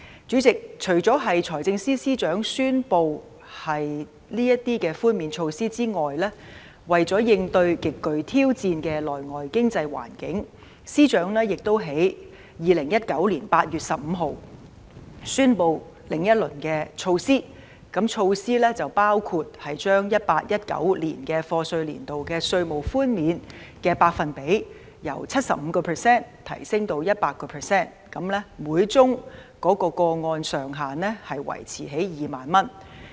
主席，除了財政司司長宣布這項寬免措施外，為應對極具挑戰的內外經濟環境，司長亦在2019年8月15日宣布另一輪措施，包括將 2018-2019 課稅年度稅務寬免的百分比由 75% 提升至 100%， 每宗個案的上限維持在2萬元。